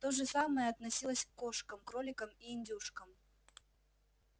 то же самое относилось к кошкам кроликам и индюшкам